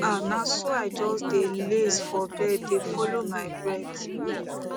ah na so i just dey laze for bed dey follow my breath